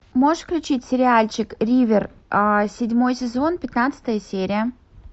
можешь включить сериальчик ривер седьмой сезон пятнадцатая серия